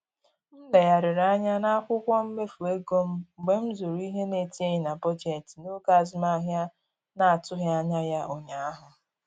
M legharịrị anya n'akwụkwọ mmefu ego m mgbe m zụrụ ihe na-etinyeghị na bọjetị n'oge azụmahịa na-atụghị anya ya ụnyaahụ